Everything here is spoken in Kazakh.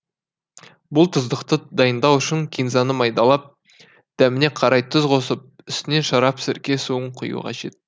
бұл тұздықты дайындау үшін кинзаны майдалап дәміне қарай тұз қосып үстінен шарап сірке суын құю қажет